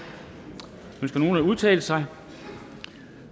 ønsker nogen at udtale sig